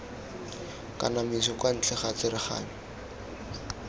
kanamiso kwa ntle ga tsereganyo